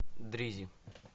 дризи